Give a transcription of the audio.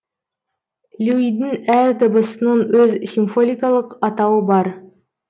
люйдің әр дыбысының өз симфоликалық атауы бар